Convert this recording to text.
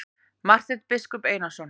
Marteinn biskup Einarsson.